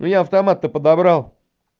ну я автомат то подобрал